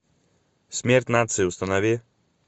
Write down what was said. смерть нации установи